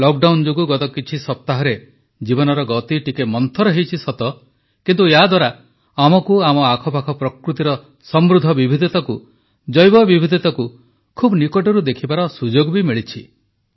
lockdown ଯୋଗୁଁ ଗତ କିଛି ସପ୍ତାହରେ ଜୀବନର ଗତି ଟିକେ ମନ୍ଥର ହୋଇଛି ସତ କିନ୍ତୁ ୟାଦ୍ୱାରା ଆମକୁ ଆମ ଆଖପାଖ ପ୍ରକୃତିର ସମୃଦ୍ଧ ବିବିଧତାକୁ ଜୈବ ବିବିଧତାକୁ ଖୁବ୍ ନିକଟରୁ ଦେଖିବାର ସୁଯୋଗ ବି ମିଳିଛି